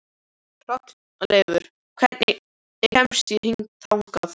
Hrolleifur, hvernig kemst ég þangað?